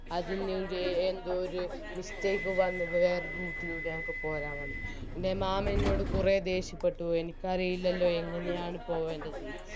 അതിനിടെ എന്തോ ഒരു mistake എൻറെ മാമൻ എന്നോട് കുറെ ദേഷ്യപ്പെട്ടു എനിക്കറിയില്ലല്ലോ എങ്ങനെയാണ് പോവേണ്ടതെന്ന്